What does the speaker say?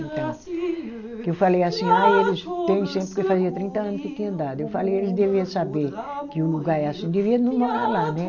Então, que eu falei assim, ah, eles têm sempre, porque fazia trinta anos que tinha dado, eu falei, eles devia saber que o lugar é assim, devia não morar lá, né?